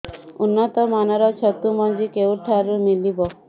ଉନ୍ନତ ମାନର ଛତୁ ମଞ୍ଜି କେଉଁ ଠାରୁ ମିଳିବ